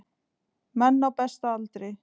Menn á besta aldri.